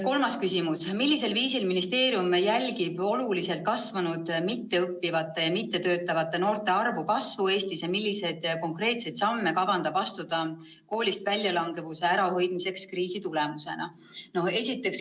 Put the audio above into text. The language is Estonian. Kolmas küsimus: "Millisel viisil ministeerium jälgib oluliselt kasvanud mitteõppivate ja mittetöötavate noorte arvu kasvu Eestis ja milliseid konkreetseid samme kavandab astuda koolist väljalangevuse ärahoidmiseks kriisi tulemusena?